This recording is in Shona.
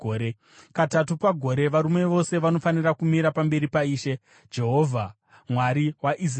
Katatu pagore, varume vose vanofanira kumira pamberi paIshe Jehovha, Mwari waIsraeri.